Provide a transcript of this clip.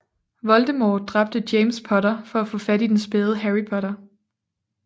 Voldemort dræbte James Potter for at få fat i den spæde Harry Potter